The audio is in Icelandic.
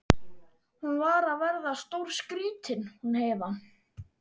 Hún var að verða stórskrýtin hún Heiða.